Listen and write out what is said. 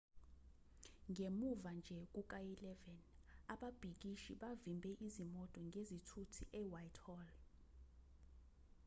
ngemuva nje kuka-11:00 ababhikishi bavimbe izimoto ngezithuthi e-whitehall